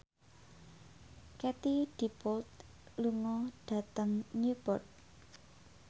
Katie Dippold lunga dhateng Newport